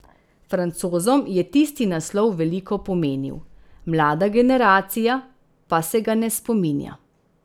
Francozom je tisti naslov veliko pomenil, mlada generacija pa se ga ne spominja.